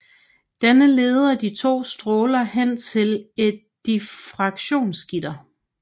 Denne leder de to stråler hen til et diffraktionsgitter